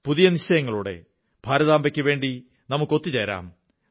പുതിയ നിശ്ചയങ്ങളോടെ ഭാരതാംബയ്ക്കുവേണ്ടി ഒത്തുചേരാം